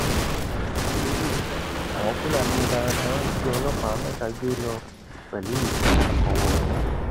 ábírú kí leléyìí àwọn fúlàní darandaran jí ọlọpàá mẹta gbé lọ pẹlú ìbọn ọwọ wọn